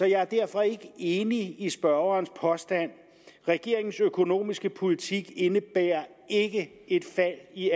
jeg er derfor ikke enig i spørgerens påstand regeringens økonomiske politik indebærer ikke et fald i